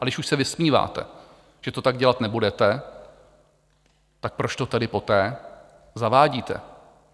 A když už se vysmíváte, že to tak dělat nebudete, tak proč to tedy poté zavádíte?